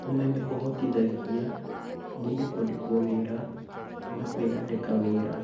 Ūmenyo ũhotithagia mũndũ kwandĩkwo wĩra kana kwĩandĩka wĩra